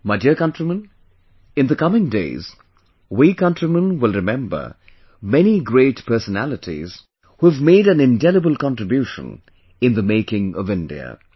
My dear countrymen, in the coming days, we countrymen will remember many great personalities who have made an indelible contribution in the making of India